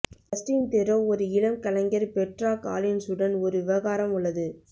Justin Theroux ஒரு இளம் கலைஞர் பெட்ரா காலின்ஸ் உடன் ஒரு விவகாரம் உள்ளது